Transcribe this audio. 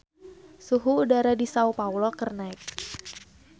Suhu udara di Sao Paolo keur naek